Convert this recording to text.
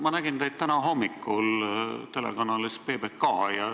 Ma nägin teid täna hommikul telekanalis PBK.